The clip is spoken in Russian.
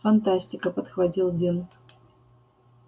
фантастика подхватил дин